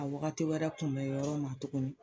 A wagati wɛrɛ kunbɛ yɔrɔ ma tuguni